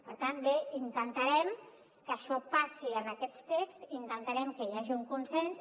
per tant bé intentarem que això passi en aquest text intentarem que hi hagi un consens